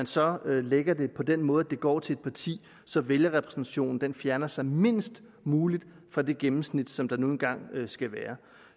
så lægger det på den måde at det går til et parti så vælgerrepræsentationen fjerner sig mindst muligt fra det gennemsnit som der nu engang skal være